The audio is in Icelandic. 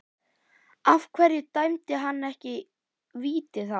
Af hverju dæmdi hann ekki víti þá?